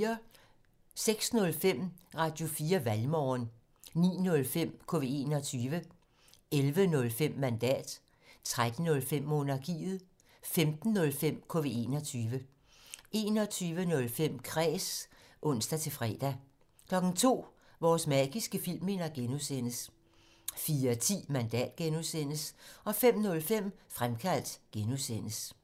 06:05: Radio4 Valgmorgen 09:05: KV21 11:05: Mandat 13:05: Monarkiet 15:05: KV21 21:05: Kræs (ons-fre) 02:00: Vores magiske filmminder (G) 04:10: Mandat (G) 05:05: Fremkaldt (G)